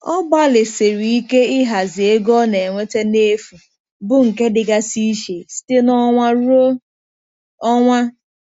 Ọ gbalịsiri ike ịhazi ego ọ na-enweta n'efu, bụ nke dịgasị iche site n'ọnwa ruo ọnwa.